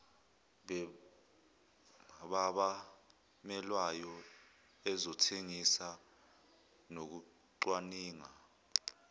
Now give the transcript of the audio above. babamelweyo ezokuthengisa nokucwaninga